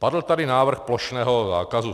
Padl tady návrh plošného zákazu.